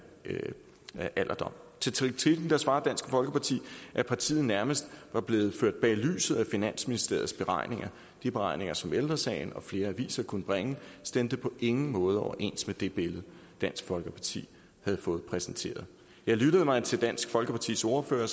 alderdom til kritikken svarer dansk folkeparti at partiet nærmest var blevet ført bag lyset af finansministeriets beregninger de beregninger som ældre sagen og flere aviser kunne bringe stemte på ingen måde overens med det billede dansk folkeparti havde fået præsenteret ja lyttede man til dansk folkepartis ordfører